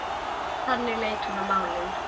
Þannig leit hún á málin.